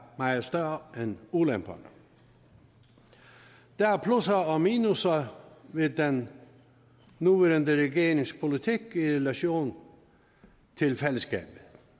meget større end ulemperne der er plusser og minusser ved den nuværende regerings politik i relation til fællesskabet